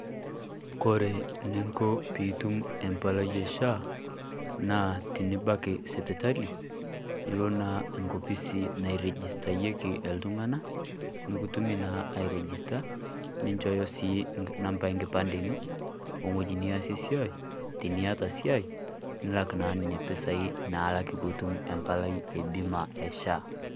Kore niiko peyie atum empalai e SHA, naa tinibaki esipitali nioo enkwaapi sii nairejistayeki iltung'ana. Nikutumii naa airejista ninchooyo si namba e nkipande enoo o ng'oji niasie siai tinieta siai nilaak naa nenia mpesai naalaki peyie etum empalai e biima e SHA.